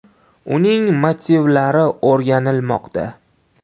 Uning motivlari o‘rganilmoqda.